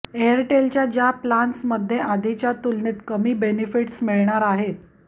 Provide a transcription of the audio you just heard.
एअरटेलच्या ज्या प्लान्समध्ये आधीच्या तुलनेत कमी बेनिफिट्स मिळणार आहेत